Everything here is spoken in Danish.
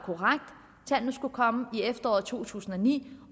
tallene skulle komme i efteråret to tusind og ni